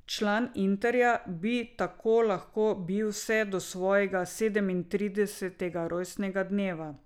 Član Interja bi tako lahko bil vse do svojega sedemintridesetega rojstnega dneva.